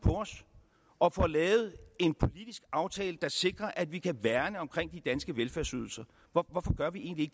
og får lavet en politisk aftale der sikrer at vi kan værne om de danske velfærdsydelser hvorfor gør vi egentlig